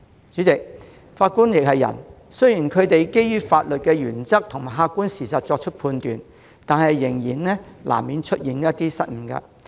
主席，法官亦是人，雖然他們基於法律原則和客觀事實作出判決，但難免會出現失誤。